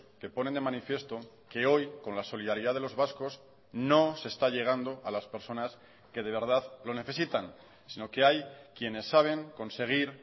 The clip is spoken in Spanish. que ponen de manifiesto que hoy con la solidaridad de los vascos no se está llegando a las personas que de verdad lo necesitan sino que hay quienes saben conseguir